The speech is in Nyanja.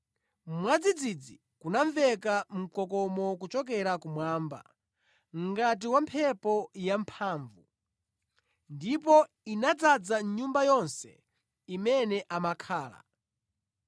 Mwadzidzidzi kunamveka mkokomo kuchokera kumwamba ngati wa mphepo yamphamvu, ndipo inadzaza nyumba yonse imene amakhala.